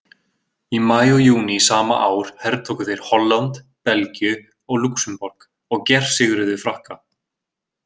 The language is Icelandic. Í maí og júní sama ár hertóku þeir Holland, Belgíu og Lúxemborg og gersigruðu Frakka.